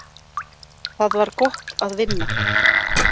Það var gott að vinna.